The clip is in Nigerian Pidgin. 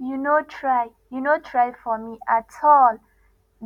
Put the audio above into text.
you no try you no try for me at all